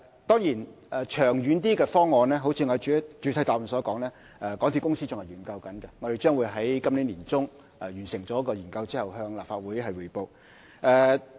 當然，較長遠的方案，正如我在主體答覆所說，港鐵公司仍在研究當中，我們將會在今年年中完成研究後再向立法會匯報。